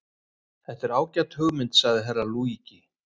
Þetta er ágæt hugmynd, sagði Herra Luigi.